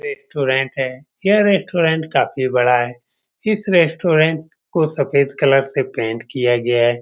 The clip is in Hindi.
रेस्ट्रोरेंट है यह रेस्ट्रोरेंट काफी बड़ा है इस रेस्ट्रोरेंट को सफ़ेद कलर से पेंट किया गया है।